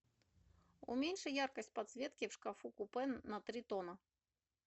уменьши яркость подсветки в шкафу купе на три тона